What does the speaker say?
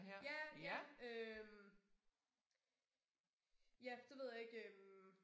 Ja ja øh. Ja det ved jeg ikke øh